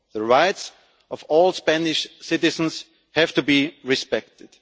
The rights of all Spanish citizens have to be respected.